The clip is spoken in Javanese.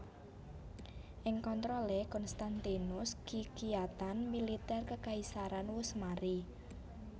Ing kontrolé Konstantinus kekiyatan militer kekaisaran wus mari